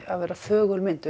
að vera þögul mynd